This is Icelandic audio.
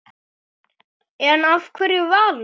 En af hverju Valur?